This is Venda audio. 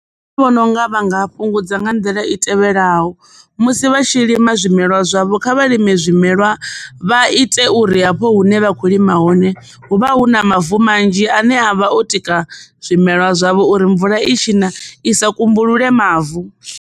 Nṋe ndi vhona unga vha nga fhungudza nga nḓila i tevhelaho musi vha tshi lima zwimelwa zwavho kha vha lime zwimelwa vha ite uri hafho hune vha kho lima hone hu vha hu na mavu manzhi ane avha o tika zwimelwa zwavho uri mvula i tshi na isa kumbulule mavu.